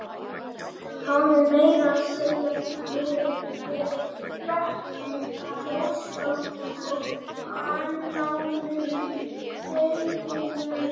Hafði meira að segja verið í bekk með þjóðskáldum og annáluðum gáfumönnum.